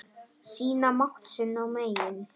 Sýna mátt sinn og megin.